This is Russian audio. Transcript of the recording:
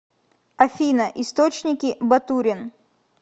афина источники батурин